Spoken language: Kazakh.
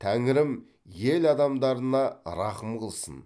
тәңірім ел адамдарына рақым қылсын